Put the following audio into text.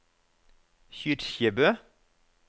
Kyrkjebø